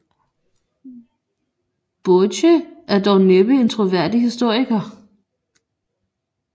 Boece er dog næppe en troværdig historiker